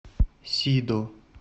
сидо